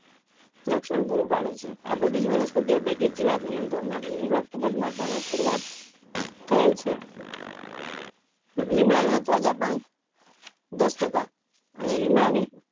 રક્ષણ પૂરું પાડે છે આ બધી જ વનસ્પતિઓ પૈકી જીવાત નિયંત્રણ માટે લીમડો ખુબ જ મહત્વ નો પુર્વાટ થયેલ છે લીમડા ના તાઝા પાન દસ ટકા અને લીમડા ની